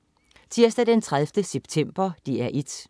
Tirsdag den 30. september - DR 1: